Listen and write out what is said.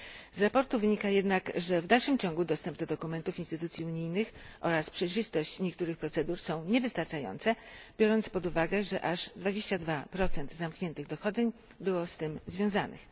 Ze sprawozdania wynika jednak, że w dalszym ciągu dostęp do dokumentów instytucji unijnych oraz przejrzystość niektórych procedur są niewystarczające, biorąc pod uwagę, że aż 22 zamkniętych dochodzeń było z tym związanych.